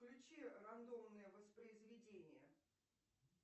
включи рандомное воспроизведение